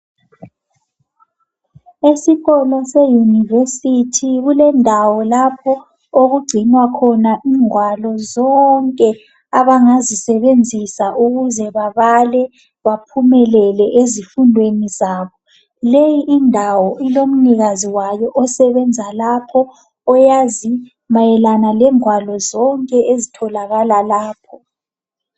esikolo se university kulendawo lapho okugcinwa khona ingwalo zonke abangazisebenzisa ukuze babale baphumelele ezifundweni zabo leyi indawo ilomnikazi wayo osebenza lapho oyazi mayelana lengwalo zonke ezitholakala lapho